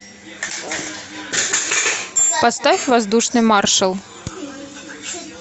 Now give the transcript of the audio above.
поставь воздушный маршал